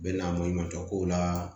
U bɛ na maɲumantɔ ko la